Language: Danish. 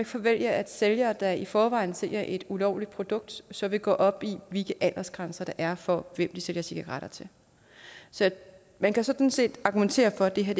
forvente at sælgere der i forvejen sælger et ulovligt produkt så vil gå op i hvilke aldersgrænser der er for hvem de sælger cigaretter til så man kan sådan set argumentere for at det her